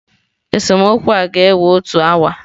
Esemokwu a ga-ewe otu awa.